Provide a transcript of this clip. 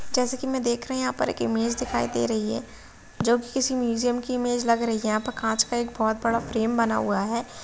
जैसे की मै देख रही हूँ यहाँ पे एक इमेज दिखाई दे रही है जो की किसी म्यूजियम इमेज लग रही है। यहाँ पर कांच का एक बहोत बड़ा फ्रेम बना हुआ है।